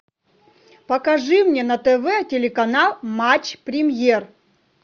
покажи мне на тв телеканал матч премьер